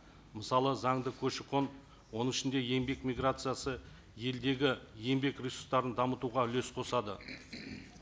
мысалы заңды көші қон оның ішінде еңбек миграциясы елдегі еңбек ресурстарын дамытуға үлес қосады